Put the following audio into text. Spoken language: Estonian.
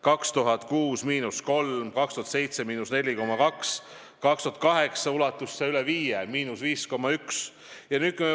2006: –3%, 2007: –4,2%, 2008. aastal ulatus puudujääk üle 5%: –5,1%.